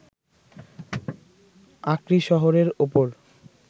আক্রি শহরের ওপর